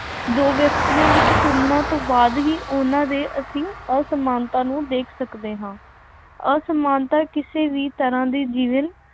ਦੋ ਵਿਅਕਤੀਆਂ ਵਿੱਚ ਤੁਲਨਾ ਤੋਂ ਬਾਅਦ ਹੀ ਉਹਨਾ ਦੇ ਅਸੀਂ ਅਸਮਾਨਤਾ ਨੂੰ ਦੇਖ ਸਕਦੇ ਹਾਂ। ਅਸਮਾਨਤਾ ਕਿਸੇ ਵੀ ਤਰ੍ਹਾਂ ਦੇ ਜੀਵਨ,